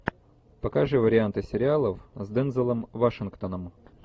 покажи варианты сериалов с дензелом вашингтоном